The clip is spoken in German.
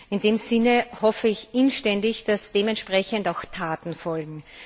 In diesem Sinne hoffe ich inständig, dass dementsprechend auch Taten folgen.